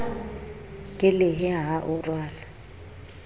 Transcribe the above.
ke lehe ha o rwale